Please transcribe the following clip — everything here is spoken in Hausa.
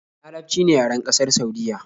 Larabci ne yaren ƙasar Saudiyya